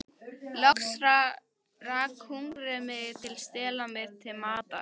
Loks rak hungrið mig til að stela mér til matar.